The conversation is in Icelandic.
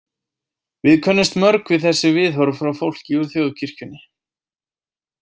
Við könnumst mörg við þessi viðhorf frá fólki úr þjóðkirkjunni .